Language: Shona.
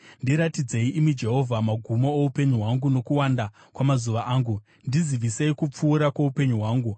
“Ndiratidzei, imi Jehovha, magumo oupenyu hwangu nokuwanda kwamazuva angu; ndizivisei kupfuura kwoupenyu hwangu.